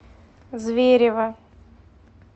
зверево